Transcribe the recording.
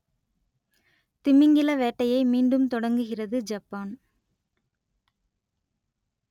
திமிங்கில வேட்டையை மீண்டும் தொடங்குகிறது ஜப்பான்